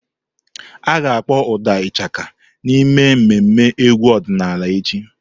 A ga-akpọ ụda Ishaka n'ememme egwu ọdịnala echi.